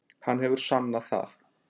Hann hefur sannað það.